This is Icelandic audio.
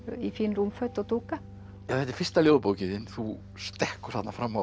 í fín rúmföt og dúka þetta er fyrsta ljóðabókin þín þú stekkur þarna fram á